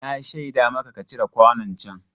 Na shaida maka ka cire kwanon can.